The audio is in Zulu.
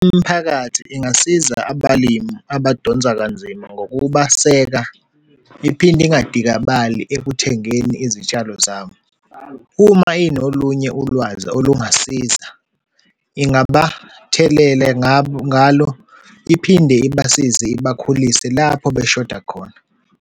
Imphakathi ingasiza abalimi abadonse kanzima ngokubaseka, iphinde ingadikabali ekuthengeni izitshalo zabo. Uma inolunye ulwazi olungasiza, ingabathelela ngalo, iphinde ibasize ibakhulise lapho beshoda khona.